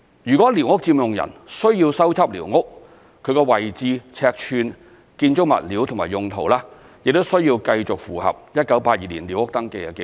如寮屋佔用人需要修葺寮屋，其位置、尺寸、建築物料及用途，亦須繼續符合1982年寮屋登記的紀錄。